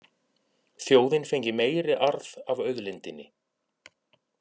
Þjóðin fengi meiri arð af auðlindinni